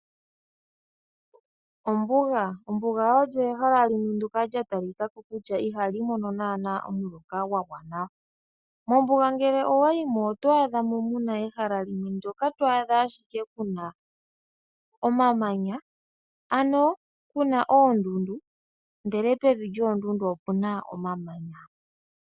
Ombuga olyo ehala ndyoka lya talikako ihaali mono omuloka gwagwana . Ngele wayi mombuga oto adha muna ehala ndyoka lina ashike omamanya , ano puna oondundu ndele pevi opuna ashike omamanya.